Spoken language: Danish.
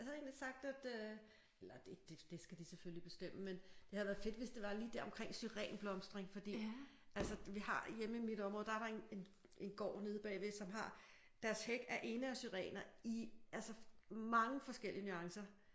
Jeg havde egentlig sagt at øh eller det skal de selvfølgelig bestemme men det havde været fedt hvis det var lige der omkring syren blomstring fordi altså vi har hjemme i mit område der er der en gård nede bagved som har deres hæk er ene syrener i altså mange forskellige nuancer